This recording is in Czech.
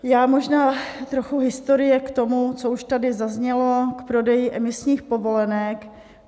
Já možná... trochu historie k tomu, co už tady zaznělo, k prodeji emisních povolenek.